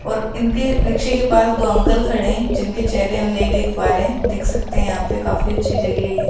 और इनके रिक्शे के पास दो अंकल खड़े हैं जिनके चेहरे हम नहीं देख पा रहे हैं देख सकते हैं यहाँ पे काफी अच्छी जगह है ये।